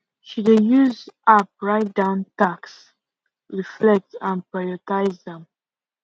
she dey use app write down tasks reflect and prioritize am